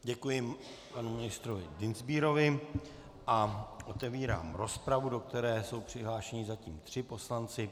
Děkuji panu ministrovi Dienstbierovi a otevírám rozpravu, do které jsou přihlášeni zatím tři poslanci.